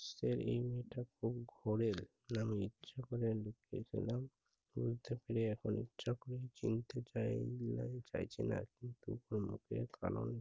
সের unit টা খুব ঘোরেল। আমি ইচ্ছা করে লুবরি খেলাম। বুঝতে পেয়ে এখন ইচ্ছা করে চিনতে চায় নি বা চাইছে না কিন্তু লোকের কারণ-